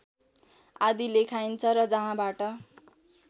आदि लेखाइन्छ र जहाँबाट